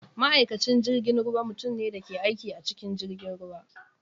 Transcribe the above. Ma’aikacin jirgin ruwa mutum ne da ke aiki a cikin jirgin ruwa.